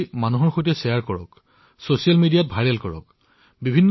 জনাসাধাৰণৰ মাজত বিনিময় কৰক ছছিয়েল মিডিয়াত ভাইৰেল কৰি তোলক